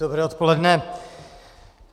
Dobré odpoledne.